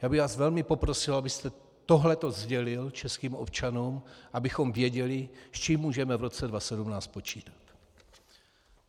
Já bych vás velmi poprosil, abyste tohleto sdělil českým občanům, abychom věděli, s čím můžeme v roce 2017 počítat.